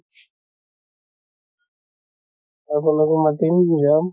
আপোনাকো মাতিম, যাম।